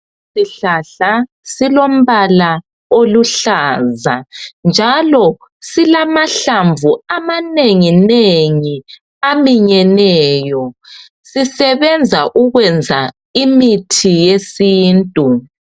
Isihlahla silombala oluhlaza njalo silamahlamvu amanengi nengi aminyeneyo. Sisebenza ukwenza imithi ye sintu